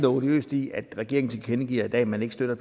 odiøst i at regeringen tilkendegiver i dag at man ikke støtter